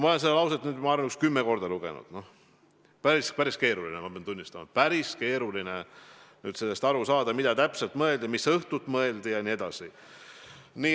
Ma olen seda lauset oma arust nüüd umbes kümme korda lugenud ja pean tunnistama, et päris keeruline on aru saada, mida täpselt mõeldi, mis õhtut mõeldi jne.